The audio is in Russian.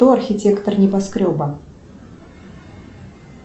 кто архитектор небоскреба